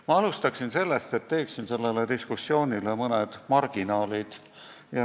Ma alustan sellest, et teen selle diskussiooni kohta mõned marginaalid.